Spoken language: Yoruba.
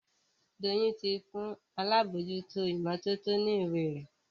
Doyin tí fún àlabòjuto imototo ní ìwé rẹ.